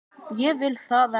Ég vil það ekki.